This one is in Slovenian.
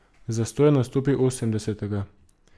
Zastoj je nastopil osemdesetega.